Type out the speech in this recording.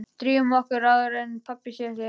Drífum okkur upp áður en pabbi sér þig hérna